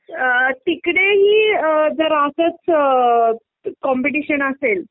तिकडे ही जर असंच कॉम्पिटिशन असेल